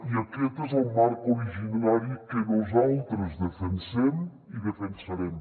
i aquest és el marc originari que nosaltres defensem i defensarem